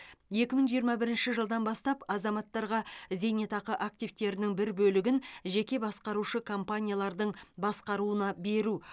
екі мың жиырма бірінші жылдан бастап азаматтарға зейнетақы активтерінің бір бөлігін жеке басқарушы компаниялардың басқаруына беру